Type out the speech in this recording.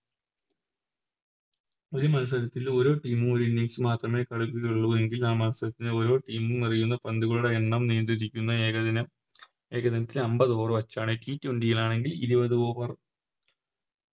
ഒരു മത്സരത്തിൽ ഒര് Team ഉം ഒര് Innings മാത്രമേ കളിക്കുകയുള്ളു എങ്കിൽ ആ മത്സരത്തിലെ ഓരോ Team ഉം എറിയുന്ന പന്തുകളുടെ എണ്ണം നീണ്ടിരിക്കുന്ന ഏകദിന ഏകദിനത്തിനെ അമ്പത് Over വെച്ചാണ് T twenty ആണെങ്കിൽ ഇരുപത് Over